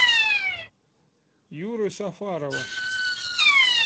юры сафарова